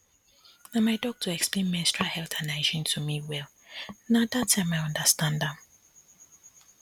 na my doctor explain menstrual health and hygiene to me well na that time i understand am